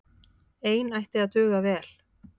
Ein ætti að duga vel.